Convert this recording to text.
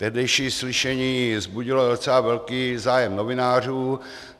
Tehdejší slyšení vzbudilo docela velký zájem novinářů.